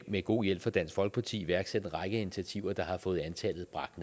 med god hjælp fra dansk folkeparti iværksat en række initiativer der har fået antallet bragt